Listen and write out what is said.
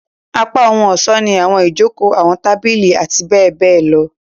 Apá ohun-ọṣọ ni awọn ijoko, awọn tabili, ati bẹbẹ lọ.